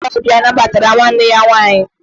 Ndị ọrụ ile ọbịa nabatara nwanne ya nwaanyị